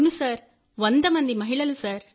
అవును సార్ 100 మంది మహిళలు